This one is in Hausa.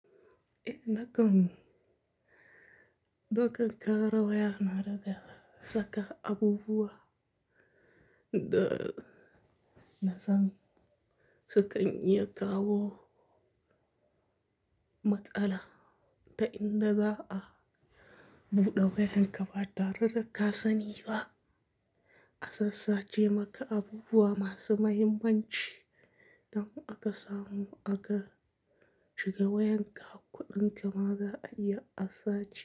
Eh, nakan. Nakan ƙara wayana daga saka abubuwa da na san sukan iya kawo matsala ta inda za a buɗe wayanka ba tare da ka sani ba. A sassace maka abubuwa masu mahimmanci don aka samu aka shiga wayanka kuɗinka ma za a iya a sace.